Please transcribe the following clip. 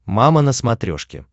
мама на смотрешке